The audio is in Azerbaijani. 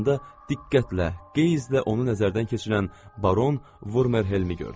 Yanında diqqətlə qeyzlə onu nəzərdən keçirən Baron Vurmerhelmi gördü.